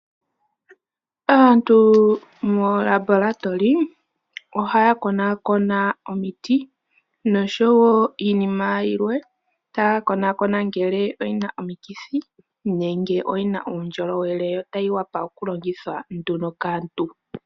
Aantu moolabolatoli ohaya konakona omiti nosho wo iinima yilwe, ta ya konakona ngele oyi na omikithi nenge oyi na uundjolowele, ta yi wapa oku longithwa nduno kaantu.